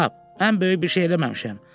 Cənab, mən böyük bir şey eləməmişəm.